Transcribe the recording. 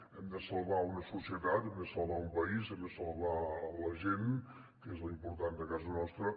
hem de salvar una societat hem de salvar un país hem de salvar la gent que és lo important de casa nostra